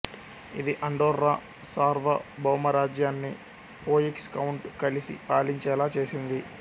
ఇది అండోర్రా సార్వభౌమరాజ్యాన్ని Foix count కలిసి పాలించేలా చేసింది